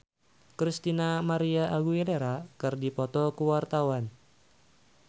Nagita Slavina jeung Christina María Aguilera keur dipoto ku wartawan